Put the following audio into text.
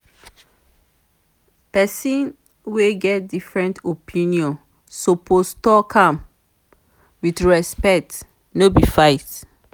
pesin wey get different opinion suppose tok am wit respect no be fight.